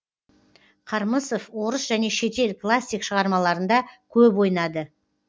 қармысов орыс және шетел классик шығармаларында көп ойнады